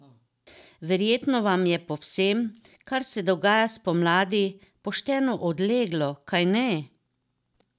Verjetno vam je po vsem, kar se dogaja spomladi, pošteno odleglo, kajne?